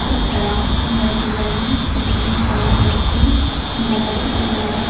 ఇక్కడ కొందరు పిల్లలు చేతులు పైన పెట్టి నిలబడి ఉన్నారు.